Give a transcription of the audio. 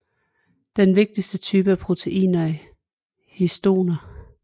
Den vigtigste type af proteiner er histoner